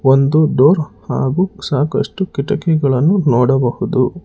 ಒಂದು ಡೋರ್ ಹಾಗು ಸಾಕಷ್ಟು ಕಿಟಕಿಗಳನ್ನು ನೋಡಬಹುದು.